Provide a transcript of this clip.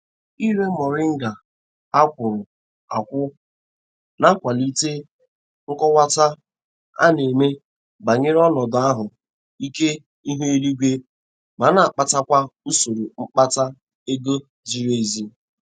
Ire moringa a kwọrọ akwọ na-akwalite nkọwata a na-eme banyere ọnọdu ahụ ike ihu eluigwe ma na-akpatakwa usoro mkpata ego ziri ezi.